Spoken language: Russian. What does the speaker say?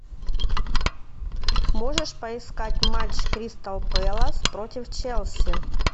можешь поискать матч кристал пэлас против челси